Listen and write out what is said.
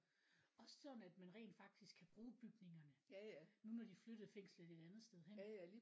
Også sådan at man rent faktisk kan bruge bygningerne nu når de flyttede fængslet et andet sted hen